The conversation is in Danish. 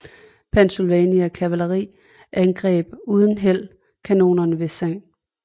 Pennsylvania kavaleri angreb uden held kanonerne ved St